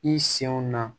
I senw na